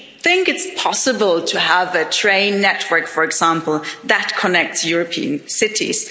You would think it's possible to have a train network, for example, that connects European cities.